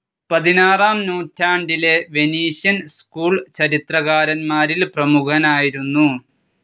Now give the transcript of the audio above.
പതിനാറാം നൂറ്റാണ്ടിലെ Venetian school ചിത്രകാരന്മാരിൽ പ്രേമുഖനായിരുന്നു.